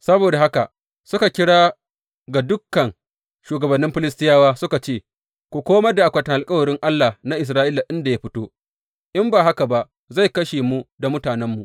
Saboda haka suka kira ga dukan shugabannin Filistiyawa suka ce, Ku komar da akwatin alkawarin Allah na Isra’ila inda ya fito; in ba haka ba zai kashe mu da mutanenmu.